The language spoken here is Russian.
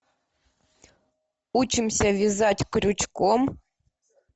учимся вязать крючком